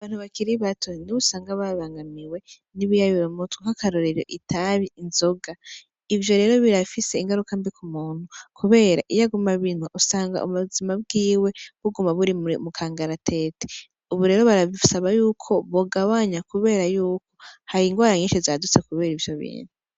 Abantu bakiribato nibo usanga bananiwe n'ibiyayura mutwe nka karorero itabi.,inzoga ivyo rero birafise ingaruka mbi k'umuntu kubera iyo aguma abinwa usanga ubuzima bwiwe buguma buri mukangaratete ubu rero baradusaba yuko twogabanya kubera yuko hari ingwara nyisi zadutse kubera ivyo bintu .